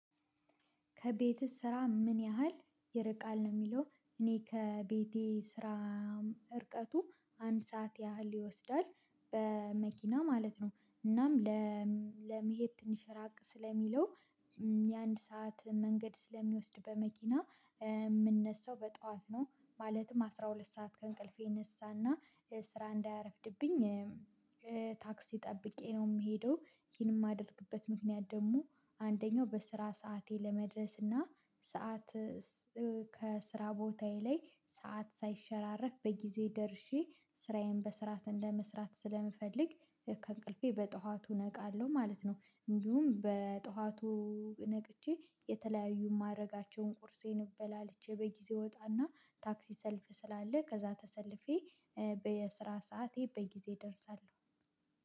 ከቤትህ ስራ ምን ያህል ይርቃል ነው? የሚለው እኔ ከቤቴ ስራ እርቀቱ አንድ ሰዓት ያህል ይወስዳል በመኪና ማለት ነው። እናም ለመሄድ ትንሽ ራቅ ስለሚለው። የአንድ ሰዓት መንገድ ስለሚወስድ በመኪና የምነሳው በጧት ነው። ማለትም አስራ ሁለት ሰዓት ከእንቅልፌ ነሳና ስራ እንዳያረፍድብኝ። ታክሲ ጠብቄ ነው የምሄደው። ይሄንን የማደርግበት ምክንያት ደግሞ አንደኛው በስራ ሰዓቴ ለመድረስ እና ሰዓት ከስራ ቦታዬ ላይ ሰዓት ሳይሸራረፍ በጊዜ ደርሼ ስራዬን በስርዓት ለመስራት ስለምፈልግ። ከእንቅልፌ በጠዋቱ ነቃለሁ ማለት ነው። እንዲሁም በጠዋቱ ነቅቼ የተለያዩ ማድረጋቸውን ቁርሴን እበላለቼ በጊዜ እወጣና ታክሲ ሰልፍ ስላለ ከዛ ተሰልፌ። በየስራ ሰዓቴ በጊዜ ደርሳለሁ።